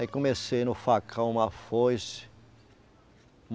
Aí comecei no facão, uma foice.